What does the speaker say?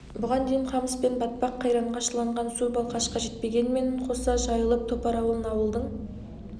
бұған дейін қамыс пен батпақ қайранға шыланған су балқашқа жетпегенімен қоса жайылып топар ауылын ауылдың